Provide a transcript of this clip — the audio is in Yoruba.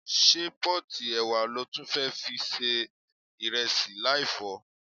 Ṣé pọ́ọ̀tì ẹ̀wà lo tún fẹ́ fi se ìrẹsì láì fọ̀ ọ́?